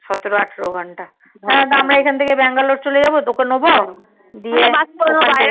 সতেরো আঠেরো ঘন্টা হ্যাঁ আমরা এখন থেকে bangalore চলে যাবো তোকে নেবো